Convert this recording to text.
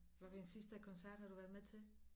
Hvad for en sidste koncert har du lige været med til